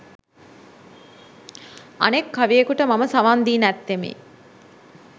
අනෙක් කවියෙකුට මම සවන් දී නැත්තෙමි.